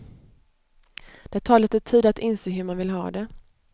Det tar lite tid att inse hur man vill ha det.